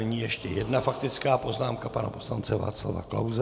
Nyní ještě jedna faktická poznámka pana poslance Václava Klause.